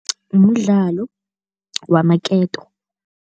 Mdlalo wamaketo.